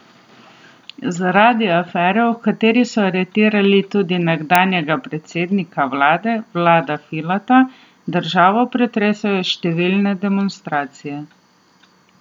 Zaradi afere, v kateri so aretirali tudi nekdanjega predsednika vlade Vlada Filata, državo pretresajo številne demonstracije.